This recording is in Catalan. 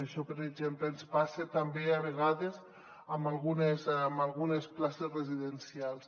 això per exemple ens passa també a vegades amb algunes places residencials